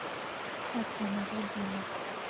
афина я дина